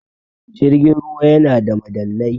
jirgin ruwa yana da madannai